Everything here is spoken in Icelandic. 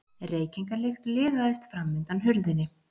Reykingalykt liðaðist fram undan hurðinni.